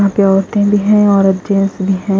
यहां पे औरते भी है और जेंट्स भी है।